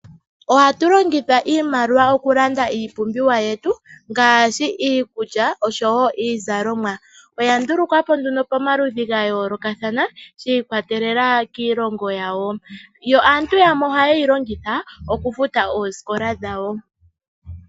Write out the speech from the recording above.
Ohatu longitha iimaliwa okulanda iipumbiwa yetu ngaashi iikulya oshowo iizalomwa. Oya ndulukwa po nduno pomaludhi ga yoolokathana shi ikwatelela kiilongo yawo. Yo aantu yamwe ohaye yi longitha okufuta oosikola dhawo.